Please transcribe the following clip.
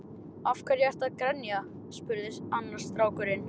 Af hverju ertu að grenja? spurði annar strákurinn.